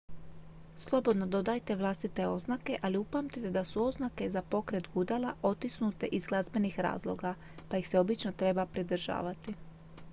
slobodno dodajte vlastite oznake ali upamtite da su oznake za pokret gudala otisnute iz glazbenih razloga pa ih se obično treba pridržavati